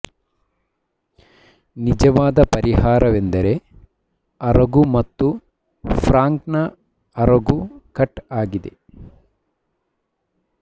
ನಿಜವಾದ ಪರಿಹಾರವೆಂದರೆ ಅರಗು ಮತ್ತು ಫ್ರಾಂಕ್ನ ಅರಗು ಕಟ್ ಆಗಿದೆ